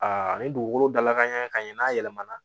Aa ni dugukolo dalakan ɲɛ ka ɲɛ n'a yɛlɛmana